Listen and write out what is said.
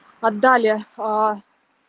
отдали а